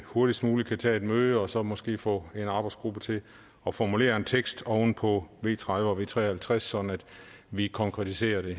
hurtigst muligt kan tage et møde og så måske få en arbejdsgruppe til at formulere en tekst oven på v tredive og v tre og halvtreds sådan at vi konkretiserer det